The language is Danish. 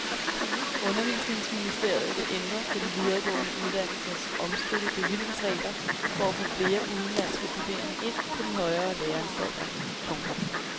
Undervisningsministeriet vil ændre på de videregående uddannelsers omstridte bevillingsregler for at få flere udenlandske studerende ind på de højere læreanstalter. punktum